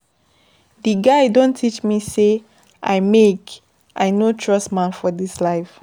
Di guy don teach me sey I make I no trust man for dis life.